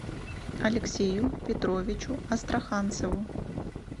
алексею петровичу астраханцеву